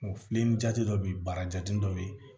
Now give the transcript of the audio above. Filen jate dɔ bɛ yen bara jate dɔ bɛ yen